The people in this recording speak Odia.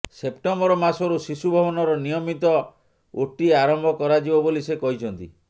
ସେପ୍ଟେମ୍ୱର ମାସରୁ ଶିଶୁଭବନର ନିୟମିତ ଓଟି ଆରମ୍ଭ କରାଯିବ ବୋଲି ସେ କହିଛନ୍ତି